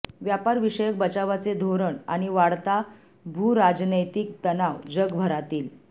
व्यापार विषयक बचावाचे धोरण आणि वाढता भूराजनैतिक तणाव जगभरातील